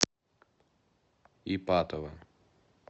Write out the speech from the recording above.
ипатово